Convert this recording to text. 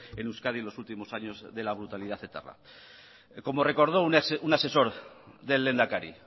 en euskadi en los últimos años de la brutalidad etarra como recordó un asesor del lehendakari